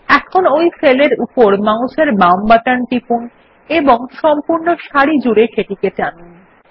এখন ওই সেল এর উপর মাউসের বাম বাটন টিপুন এবং সম্পূর্ণ সারি জুড়ে সেটিকে টানুন